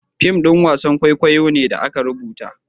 fim ɗin wasan kwaikwayo ne da aka rubuta